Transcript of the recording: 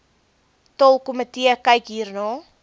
taalkomitee kyk hierna